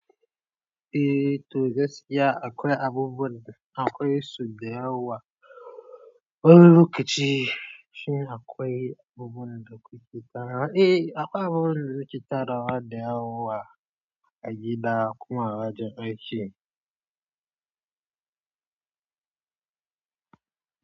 Eh toh gaskiya akwai abubuwan da akwai so da yawa. Wani lokaci shin akwai abubuwan da kuke tarawa. Eh akwai abubuwan da naketarwa kiceta rawa da yawa. A gida kuma a wajen aiki.